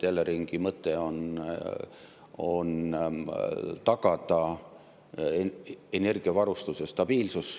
Eleringi mõte on tagada energiavarustuse stabiilsus.